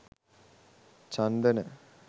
chandana